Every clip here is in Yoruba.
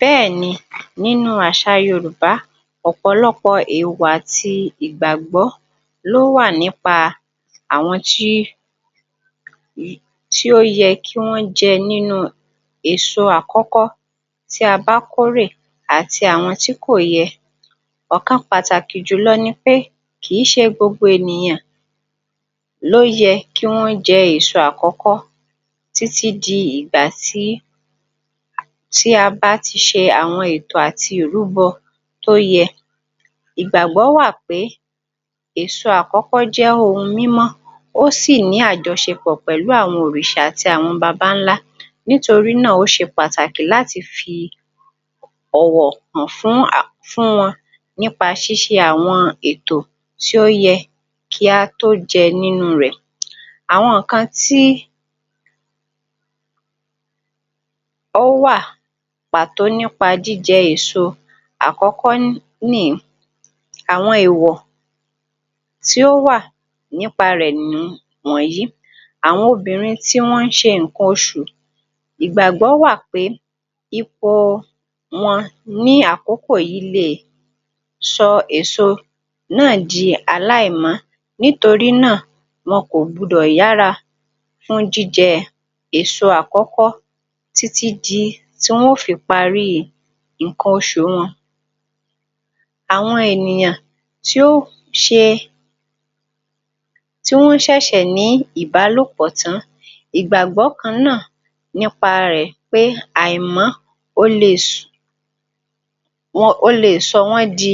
Bẹ́ẹ̀ ni nínú àṣà Yorúbá ọ̀pọ̀lọpọ̀ ìwà àti ìgbàgbọ ló wà ní pa àwọn tí ó, ó yẹ kí wọ́n jẹ nínú èso àkọ́kọ́ tí a bá kórè àti àwọn tí kò yẹ. Ọ̀kan pàtàkì jùlọ ni pé kì í ṣe gbogbo ènìyàn ni ó yẹ kí wọ́n jẹ́ èso àkọ́kọ́, títí di ìgbàtí a bá ti ṣe àwọn ètò àti ìrúbọ tó yẹ. Ìgbàgbó wà pé èso àkọ́kọ́ jẹ́ ohun mímó ó sì ní àjọṣepọ̀ pẹ̀lú àwọn òrìṣà àti àwọn babańlá nítorí náà ó ṣe pàtàkì láti fi ọ̀wọ̀ hàn fún à, fún wọn ní pa ṣíse àwọn ètò tí ó yẹ kí a tó jẹ́ nínú rẹ̀. Àwọn ǹkan tí ó wà pàtó ní pa jí jẹ́ èso àkọ́kọ́ nì í. Àwọn èwọ̀ tí ó wà ní pa rẹ̀ nì wọ̀nyí. Àwọn obìnrin tí wọ́n ń ṣe ǹkan osù. Ìgbàgbọ́ wà pé ipò wọn ní àkókò yìí lè sọ èso náà dì alá ì mọ́, nítorí náà wọn kò gbọdọ̀ yàra kánjú jẹ èso àkọ́kọ́ tí tí tí wọ́n o fi parí ǹkan osù wọn. Àwọn ènìyàn tí ó ṣe tí wọ́n sẹ̀sẹ̀ ní ìbálòpọ̀ tá, ìgbàgbọ́ ka náà ní pa rẹ̀ pé à ì mọ́ ó lè ṣe, ó le sọ wọn di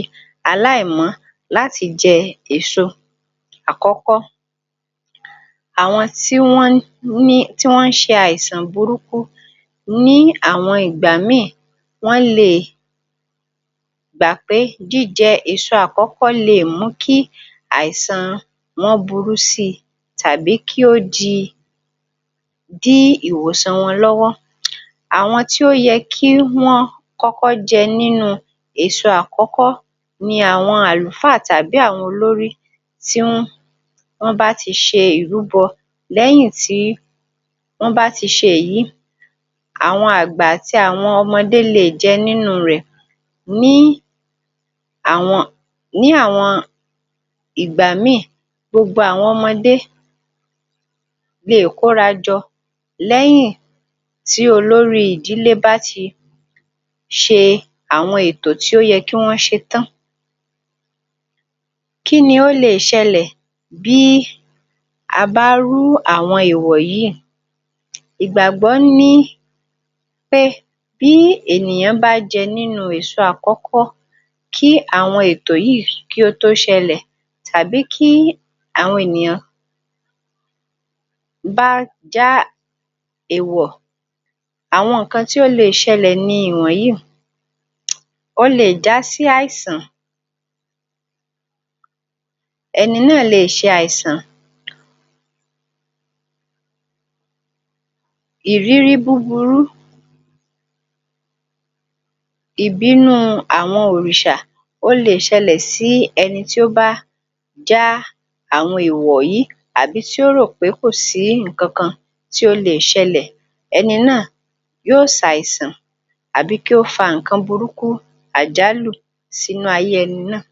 a lá ì mọ́ láti jẹ èso àkọ́kọ́. Àwọn tí wọ́n ń ṣe àìsàn burúkú ní àwọn ìgbà mí ì wọn lè gbà pé jí jẹ́ èso àkọ́kọ́ lè mú kí àìsàn wọn burú sí i tàbí kí ó di, dí ìwòsan wọn lọ́wọ́ àwọn tó yẹ kí wọ́n kọ́kọ́ jẹ nínú èso àkọ́kọ́ ni àwọn àlùfáà tàbí àwọn olórí tí wọ́n bá ti ṣe ìrúbọ lẹ́yìn tí wọ́n bá ti ṣe èyí àwọn àgbà àti àwọn ọmọdé lè jẹ nínú rẹ̀. Ní àwọn, ní àwọn ìgbà mí ì gbogbo àwọn ọmọdé lè kó ra jọ lẹ́yìn tí olórí ìdílé bá ti ṣe àwọn ètò tí ó yẹ kí wọ́n ṣe tán. Kí ni ó le ṣẹlẹ̀ bí a bá rú awòn èwọ̀ yìí. Ìgbàgbọ́ ní pé bí ènìyàn bá jẹ́ nínú èso àkọ́kọ́ kí àwọn ètò yìí tó ṣẹlẹ̀ tàbí kí àwọn ènìyàn bá já ẹ̀wọ̀ àwọn ǹkan tí ó le ṣẹlẹ̀ ni ìwọ̀nyí. Ó le já sí àìsàn ẹni náà lè ṣe àìsàn ìrírí búburú ìbínú àwọn òrìṣà ó le ṣẹlẹ̀ sí ẹni tó bá já àwọn ẹ̀wọ̀ yìí. Àbí tó rò pé kò sí ǹkankan tó lè ṣẹlẹ̀ ẹni náà yóó ṣe àìsàn àbí kí ó fa ǹkan burúkú, àjálù sí nú ayé ẹni náà.